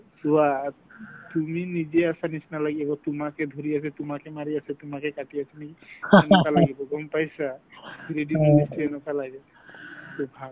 চোৱা তুমি নিজে আছাৰ নিচিনা লাগিব তোমাকে ধৰি আছে তোমাকে মাৰি আছে তোমাকে কাটি আছে নেকি সেনেকুৱা লাগিব গম পাইছা three D movie ত চাই এনেকুৱা লাগে